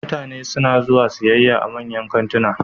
Mutane suna zuwa siyayya a manyan kantuna